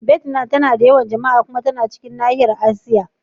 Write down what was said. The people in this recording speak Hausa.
Vietnam tana da yawan jama'a. Kuma yana cikin nahiyar Asiya.